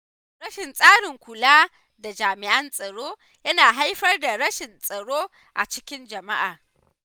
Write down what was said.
Rashin tsarin kula da jami’an tsaro yana haifar da rashin tsaro a cikin jama’a.